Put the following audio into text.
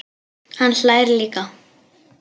Hann hlær líka.